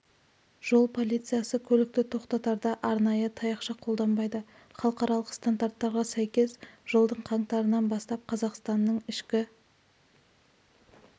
жол полициясы көлікті тоқтатарда арнайы таяқша қолданбайды халықаралық стандарттарға сәйкес жылдың қаңтарынан бастап қазақстанның ішкі